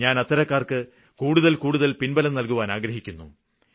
ഞാന് അത്തരക്കാര്ക്ക് കൂടുതല് കൂടുതല് പിന്ബലം നല്കുവാന് ആഗ്രഹിക്കുന്നു